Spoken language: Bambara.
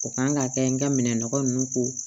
O kan ka kɛ n ka minɛnɔgɔ ninnu ko